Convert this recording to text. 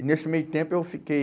E nesse meio tempo eu fiquei...